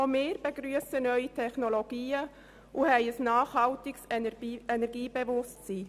Auch wir begrüssen neue Technologien und haben ein nachhaltiges Energiebewusstsein.